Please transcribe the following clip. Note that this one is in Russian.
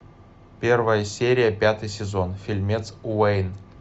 первая серия пятый сезон фильмец уэйн